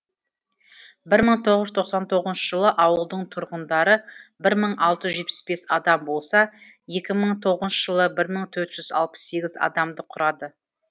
бір мың тоғыз жүз тоқсан тоғызыншы жылы ауылдың тұрғындары бір мың алты жүз алпыс бес адам болса екі мың тоғызыншы жылы бір мың төрт жүз алпыс сегіз адамды құрады